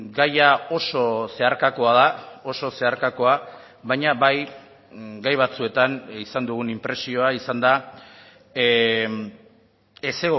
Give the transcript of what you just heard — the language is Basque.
gaia oso zeharkakoa da oso zeharkakoa baina bai gai batzuetan izan dugun inpresioa izan da ez